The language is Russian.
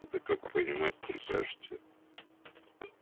это как понимать прикажете